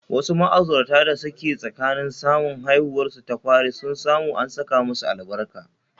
Wasu ma'aurata da suke tsakanin samun haihuwarsu ta fari sun samu an saka musu albarka